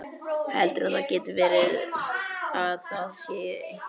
Heldurðu að það geti verið. að það sé einhver.